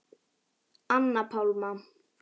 Anna Pálma.